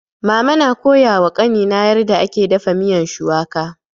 Mama na koya wa kani na yarda ake dafa miyan shuwaka